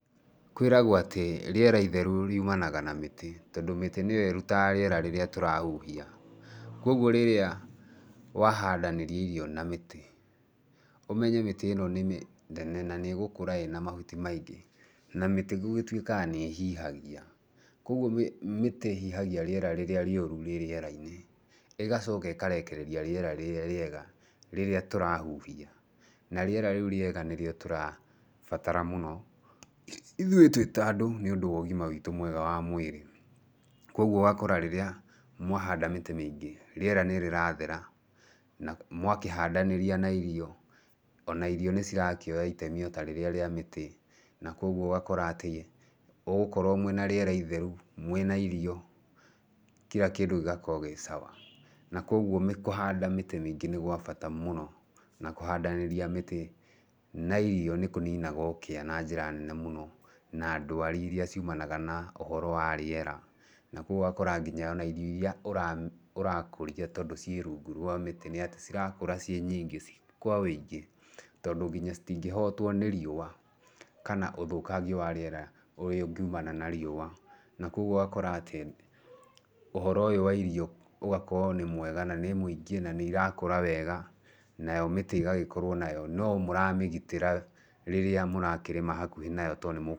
Kwĩragwo atĩ rĩera itheru riumanaga na mĩtĩ, tondũ mĩtĩ nĩyo ĩrutaga rĩera rĩrĩa tũrahuhia, koguo rĩrĩa wahandanĩria irio na mĩtĩ, ũmenye mĩtĩ ĩno nĩ mĩnene na nĩ ĩgũkũra ĩna mahuti maingĩ, na mĩtĩ gũgĩtuĩkaga nĩ ĩhihagia, koguo mĩtĩ ĩhihagia rĩera rĩrĩa rĩũru rĩ rĩera-inĩ, ĩgacoka ĩkarekereria rĩera rĩrĩa rĩega rĩrĩa tũrahuhia, na rĩera rĩu rĩega nĩrĩo tũrabatara mũno, ithuĩ twĩ ta andũ nĩ ũndũ wa ũgima witũ mwega wa mwĩrĩ. Koguo ũgakora rĩrĩa mwahanda mĩtĩ mĩingĩ, rĩera nĩrĩrathera na mwakĩhandanĩria na irio, ona irio nĩ cirakĩoya itemi ota rĩrĩa rĩa mĩtĩ, na koguo ũgakora atĩ, ũgũkorwo mwĩna rĩera itheru mwĩna irio, kira kĩndũ gĩgakorwo gĩ sawa, na koguo kũhanda mĩtĩ mĩingĩ nĩ gwa bata mũno, na kũhandanĩria mĩtĩ na irio nĩ kũninaga ũkĩa na njĩra nene mũno, na ndwari iria ciumanaga na ũhoro wa rĩera, na koguo ũgakora nginya ona irio irĩa ũra ũra ũrakũria tondũ ciĩ rungu rwa mĩtĩ nĩ atĩ cirakũra ciĩ nyingĩ, kwa ũingĩ, tondũ nginya citingĩhotwo nĩ riũa kana ũthũkangia wa rĩera ũrĩa ũngiumana na riũa, na koguo ũgakora atĩ ũhoro ũyũ wa irio ũgakorwo nĩ mwega na nĩ mũingĩ na nĩ irakũra wega, nayo mĩtĩ ĩgagĩkorwo nayo no mũramĩgitĩra rĩrĩa mũrakĩrĩma hakuhĩ nayo tondũ nĩ.